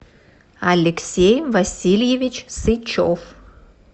алексей васильевич сычев